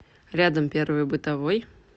рядом первый бытовой